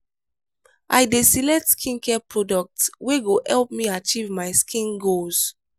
i dey select skincare products wey go help me achieve my skin goals.